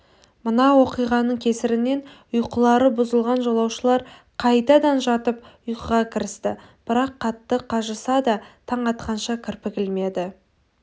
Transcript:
мына оқиғаның кесірінен ұйқылары бұзылған жолаушылар қайтадан жатып ұйқыға кірісті бірақ қатты қажыса да таң атқанша кірпік ілмеді